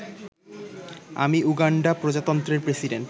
আমি উগান্ডা প্রজাতন্ত্রের প্রেসিডেন্ট